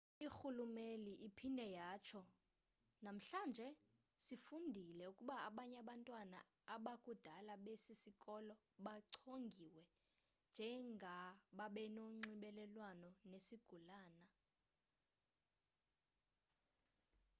irhuluneli iphinde yatsho namhlanje sifundile ukuba abanye abantwana abakubudala besi sikolo bachongiwe njengababenonxibelelwano nesigulana